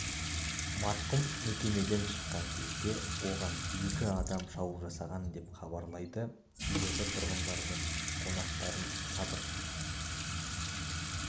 марқұм мекемеден шыққан кезде оған екі адам шабуыл жасаған деп хабарлайды елорда тұрғындары мен қонақтарын сабыр